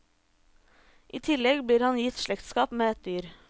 I tillegg blir han gitt slektskap med et dyr.